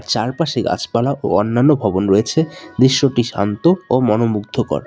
চারপাশে গাছপালা ও অন্যান্য ভবন রয়েছে দৃশ্যটি শান্ত ও মনোমুগ্ধকর।